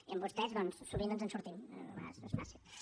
i amb vostès doncs sovint ens en sortim a vegades no és fàcil